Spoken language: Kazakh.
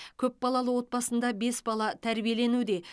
көпбалалы отбасында бес бала тәрбиеленуде